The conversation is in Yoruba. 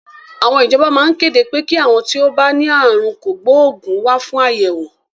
Àwọn ìjọba maa kéde pé kí àwọn tí ó bá ní àrùn kògbóògùn wá fún àyẹ̀wò.